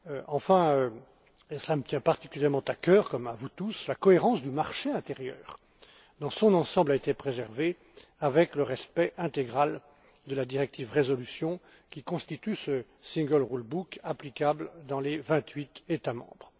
Enfin, et cela me tient particulièrement à cœur, comme à vous tous, la cohérence du marché intérieur dans son ensemble a été préservée avec le respect intégral de la directive sur la résolution, qui constitue ce single rule book applicable dans les vingt huit États membres.